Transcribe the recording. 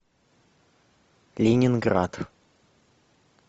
ленинград